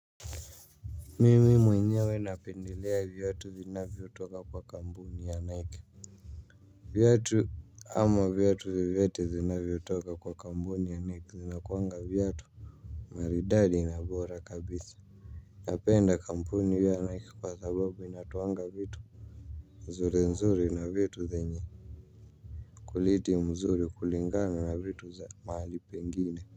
Mimimu inyewe napendelea viatu zinavyotoka kwa kampuni ya Nike. Viatu ama viatu vyovyote zinavyotoka kwa kampuni ya Nike zinakuanga viatu maridadi na bora kabisa. Napenda kampuni vye Nike kwa sababu inatoanga vitu nzuri nzuri na vitu zenye quality mzuri kulinganisha na vitu za mahali pengine.